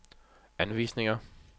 anvisninger